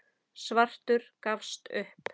Svartur gafst upp.